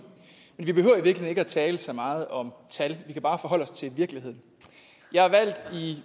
men vi behøver i virkeligheden ikke at tale så meget om tal vi kan bare forholde os til virkeligheden jeg er valgt